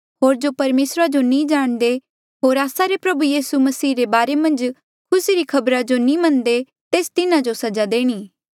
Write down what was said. होर जो परमेसरा जो नी जाणदे होर आस्सा रे प्रभु यीसू मसीह रे बारे मन्झ खुसी री खबरा जो नी मन्नदे तेस तिन्हा जो सजा देणी